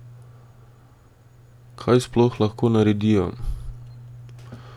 Kaj sploh lahko naredijo?